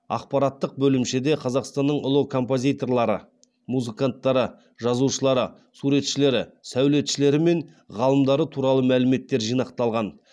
ақпараттық бөлімшеде қазақстанның ұлы композиторлары музыканттары жазушылары суретшілері сәулетшілері мен ғалымдары туралы мәліметтер жинақталған